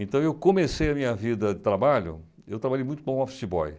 Então, eu comecei a minha vida de trabalho, eu trabalhei muito para um office boy.